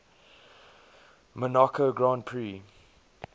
monaco grand prix